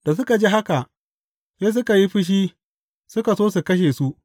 Da suka ji haka, sai suka yi fushi suka so su kashe su.